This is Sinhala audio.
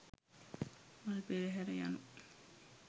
මල් පෙරහර යනු